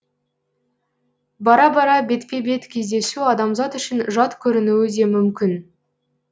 бара бара бетпе бет кездесу адамзат үшін жат көрінуі де мүмкін